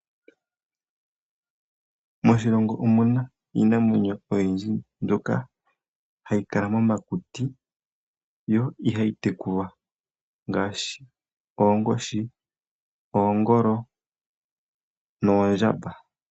Moshilongo omu na iinamwenyo oyindji mbyoka hayi kala momakuti yo ihayi tekulwa ngaashi oonkoshi, oongolo noondjamba.